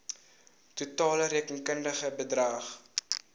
totale rekenkundige bedrag